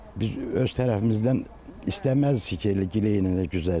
Biz öz tərəfimizdən istəməzdik ki, elə giley-güzar eləyək.